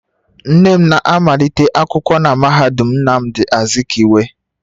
Nne m na-amalite akwụkwọ na mahadum Nnamdi Azikiwe